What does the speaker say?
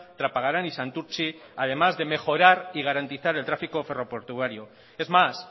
trapagarán y santurtzi además de mejorar y garantizar el tráfico ferroportuario es más